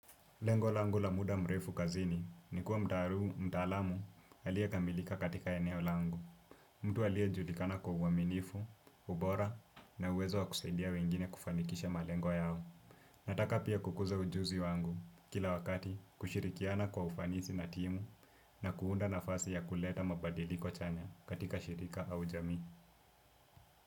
Lengo langu la muda mrefu kazini ni kuwa mtaaluma mtaalamu aliye kamilika katika eneo langu. Mtu aliyejulikana kwa uaminifu, ubora na uwezo wa kusaidia wengine kufanikisha malengo yao. Nataka pia kukuza ujuzi wangu kila wakati kushirikiana kwa ufanisi na timu na kuunda nafasi ya kuleta mabadiliko chanya katika shirika au jamii.